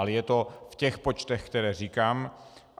Ale je to v těch počtech, které říkám.